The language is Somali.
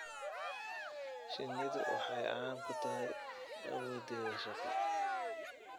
Shinnidu waxa ay caan ku tahay awooddeeda shaqo.